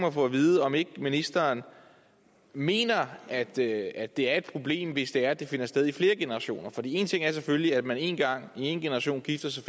at få at vide om ikke ministeren mener at det at det er et problem hvis det er at det finder sted i flere generationer for én ting er selvfølgelig at man én gang i en generation gifter sig